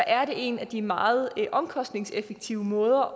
er det en af de meget omkostningseffektive måder